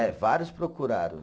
É, vários procuraram.